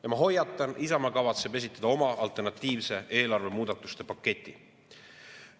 Ja ma hoiatan, Isamaa kavatseb esitada oma alternatiivse eelarve muudatuste paketi.